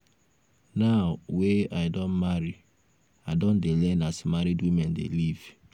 now wey i don marry i don dey learn as married women dey live.